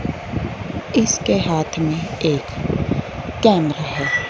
इसके हाथ में एक कैमरा हैं।